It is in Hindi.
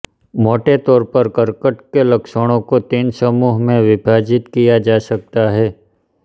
मोटे तौर पर कर्कट के लक्षणों को तीन समूहों में विभाजित किया जा सकता है